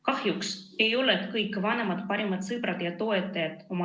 Kahjuks ei ole kõik vanemad oma lapse parimad sõbrad ja toetajad.